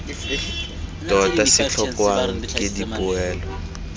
tota se tlhokwang ke dipoelo